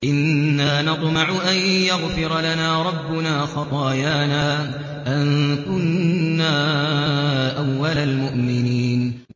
إِنَّا نَطْمَعُ أَن يَغْفِرَ لَنَا رَبُّنَا خَطَايَانَا أَن كُنَّا أَوَّلَ الْمُؤْمِنِينَ